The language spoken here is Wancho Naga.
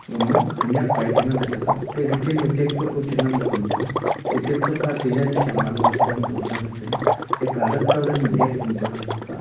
ama khenyak pae chenganley taiga te gachen ma tactot ochenganley pun taiga te tactot ka tejaji loe shetham puley ngan taiga te colat kawdan ma leit pun taiga aka kah a.